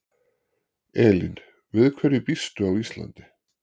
Elín: Við hverju býstu á Íslandi?